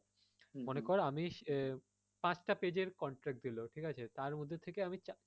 মনে কর আমি পাঁচটা page এর contract দিলো ঠিক আছে তার মধ্যে থেকে আমি চারটা,